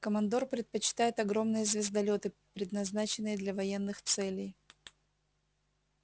командор предпочитает огромные звездолёты предназначенные для военных целей